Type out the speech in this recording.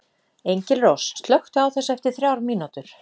Engilrós, slökktu á þessu eftir þrjár mínútur.